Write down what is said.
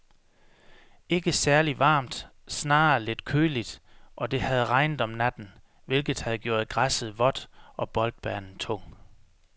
Ikke særligt varmt, snarere lidt køligt, og det havde regnet om natten, hvilket havde gjort græsset vådt og boldbanen tung.